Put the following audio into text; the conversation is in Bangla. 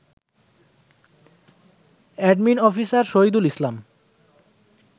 admin officer Shahidul Islam